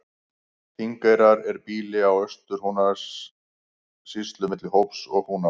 Þingeyrar er býli í Austur-Húnavatnssýslu milli Hóps og Húnavatns.